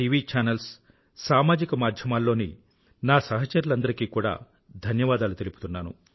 వి channels సామాజిక మాధ్యమాలలోని నా సహచరులందరికీ కూడా ధన్యవాదాలు తెలుపుతున్నాను